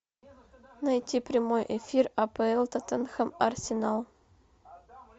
найти прямой эфир апл тоттенхэм арсенал